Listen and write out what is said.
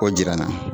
K'o jira n na